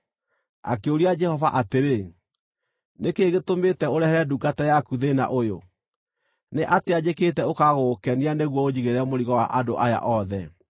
Akĩũria Jehova atĩrĩ, “Nĩ kĩĩ gĩtũmĩte ũrehere ndungata yaku thĩĩna ũyũ? Nĩ atĩa njĩkĩte ũkaaga gũgũkenia nĩguo ũnjigĩrĩre mũrigo wa andũ aya othe?